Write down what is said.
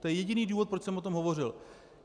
To je jediný důvod, proč jsem o tom hovořil.